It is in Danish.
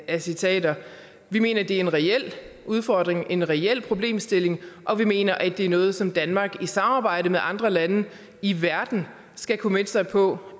af citater vi mener det er en reel udfordring og en reel problemstilling og vi mener at det er noget som danmark i samarbejde med andre lande i verden skal committe sig på